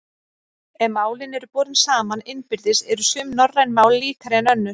Ef málin eru borin saman innbyrðis eru sum norræn mál líkari en önnur.